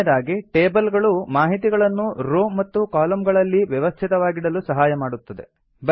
ಕೊನೆಯದಾಗಿ ಟೇಬಲ್ ಗಳು ಮಾಹಿತಿಗಳನ್ನು ರೋ ಮತ್ತು ಕಾಲಮ್ ಗಳಲ್ಲಿ ವ್ಯವಸ್ಥಿತವಾಗಿಡಲು ಸಹಾಯ ಮಾಡುತ್ತವೆ